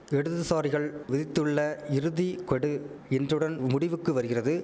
இடதுசாரிகள் விதித்துள்ள இறுதி கொடு இன்றுடன் முடிவுக்கு வருகிறது